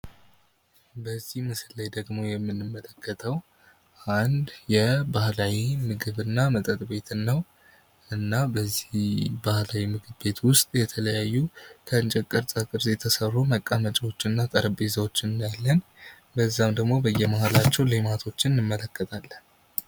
በዚህ ምስል ላይ ደግሞ የምንመለከተው አንድ የባህላዊ ምግብ እና መጠጥ ቤት ነው እና በዚህ ባህላዊ ምግብ ቤት ውስጥ የተለያዩ ከእንጨት ቅርፃ ቅርፅ የተሠሩ መቀመጫዎችን እና ጠረጴዛዎችን እናያለን በዛም ደግሞ በየመሀላቸው ሌማቶችን እንመለከታለን ።